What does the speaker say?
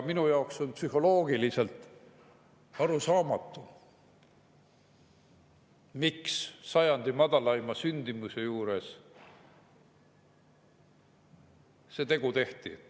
Minu jaoks on psühholoogiliselt arusaamatu, miks sajandi madalaima sündimuse juures see tegu tehti.